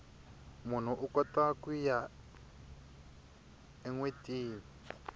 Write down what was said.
munhu ukota kuya enwetini